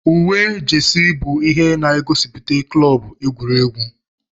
Uwe jesi bụ ihe na-gosiputa klọb egwuregwu.